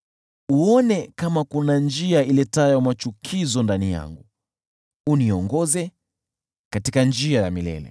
Uone kama kuna njia iletayo machukizo ndani yangu, uniongoze katika njia ya milele.